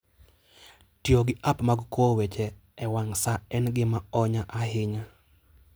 Tiyo gi app mag kowo weche e wang' sa en gima onya ahinya.